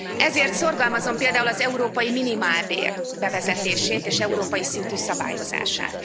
Ezért szorgalmazom például az európai minimálbér bevezetését és európai szintű szabályozását.